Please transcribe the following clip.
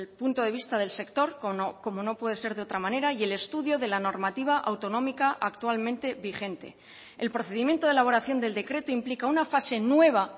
punto de vista del sector como no puede ser de otra manera y el estudio de la normativa autonómica actualmente vigente el procedimiento de elaboración del decreto implica una fase nueva